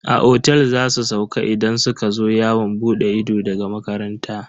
A otel za su sauka idan suka zo yawon bude ido daga makaranta.